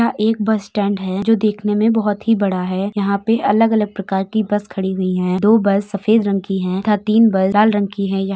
एक bus stand है जो देखने में बहोत ही बड़ा है। यहां पे अलग-अलग प्रकार की बस खड़ी हुई हैं। दो बस सफेद रंग की हैं तथा तीन बस लाल रंग की हैं। य --